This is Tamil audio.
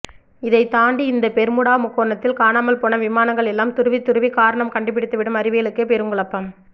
இதை தாண்டி இந்த பெர்முடா முக்கோணத்தில் காணாமல் போன விமானங்கள் எல்லாம் துருவி துருவி காரணம் கண்டுபிடித்துவிடும் அறிவியலுக்கே பெருங்குழப்பம்